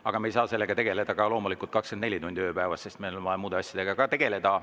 Aga me ei saa sellega tegeleda loomulikult 24 tundi ööpäevas, sest meil on vaja muude asjadega ka tegeleda.